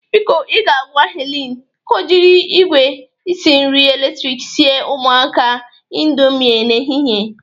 Biko, ị ga-agwa Helen ka o jiri igwe isi nri eletriki siere ụmụaka a indomi n'ehihe.